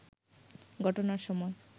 ঘটনার সময়